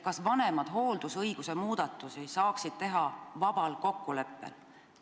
Kas vanemad saaksid hooldusõiguse muudatusi teha vabal kokkuleppel?